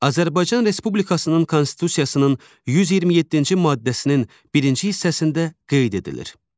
Azərbaycan Respublikasının Konstitusiyasının 127-ci maddəsinin birinci hissəsində qeyd edilir.